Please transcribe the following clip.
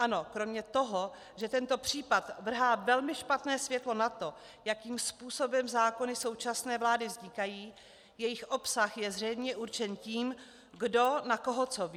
Ano, kromě toho, že tento případ vrhá velmi špatné světlo na to, jakým způsobem zákony současné vlády vznikají, jejich obsah je zřejmě určen tím, kdo na koho co ví.